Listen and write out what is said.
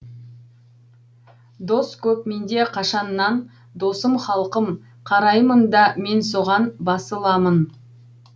дос көп менде қашаннан досым халқым қараймын да мен соған басыламын